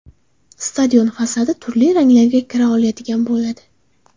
Stadion fasadi turli ranglarga kira oladigan bo‘ladi.